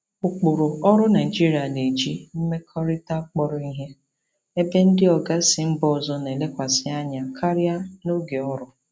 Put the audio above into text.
Ụkpụrụ ọrụ Naịjirịa na-eji mmekọrịta kpọrọ ihe, ebe ndị oga si mba ọzọ na-elekwasị anya karịa na oge ọrụ.